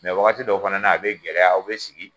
wagati dɔw fana na a be gɛlɛya aw be sigi